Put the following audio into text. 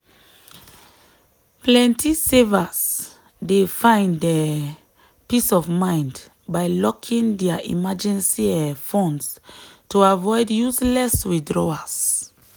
plenty savers dey find um peace of mind by locking dia emergency um funds to avoid useless withdrawals.